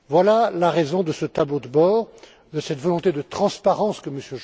Voilà la raison de ce tableau de bord, de cette volonté de transparence que M.